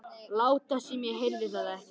Láta sem ég heyrði það ekki.